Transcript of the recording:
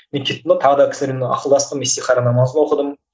мен кеттім да тағы да кісілермен ақылдастым исихара намазын оқыдым